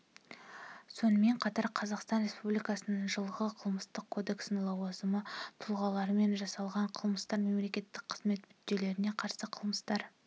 сонымен қатар қазақстан республикасының жылғы қылмыстық кодексінде лауазымды тұлғалармен жасалған қылмыстар мемлекеттік қызмет мүддесіне қарсы қылмыстар